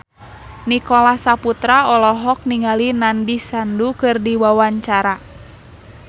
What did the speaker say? Nicholas Saputra olohok ningali Nandish Sandhu keur diwawancara